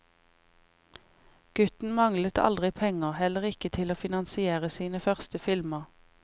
Gutten manglet aldri penger, heller ikke til å finansiere sine første filmer.